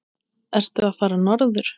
Ertu að fara norður?